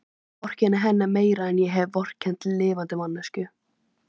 Ég vorkenni henni meira en ég hef vorkennt lifandi manneskju.